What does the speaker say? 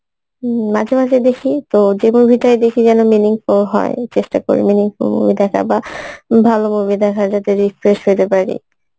উম মাঝে মাঝে দেখি তো যে movie টাই দেখি যেন meaningful হয় চেষ্টা করি meaningful movie দেখার বা ভালো movie দেখার যাতে refresh হইতে পারি